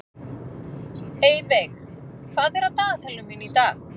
Eyveig, hvað er á dagatalinu mínu í dag?